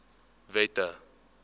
wette